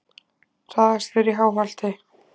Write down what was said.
Hraðakstur í Háholti